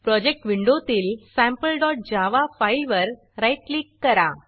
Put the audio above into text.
project विंडोतील sampleजावा sample Java फाईलवर राईट क्लिक करा